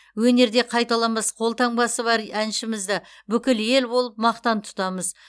өнерде қайталанбас қолтаңбасы бар әншімізді бүкіл ел болып мақтан тұтамыз